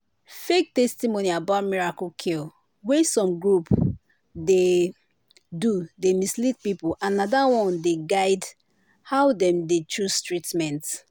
fake testimony about miracle cure wey some group dey do dey mislead people and na that one dey dey guide how dem dey choose treatment.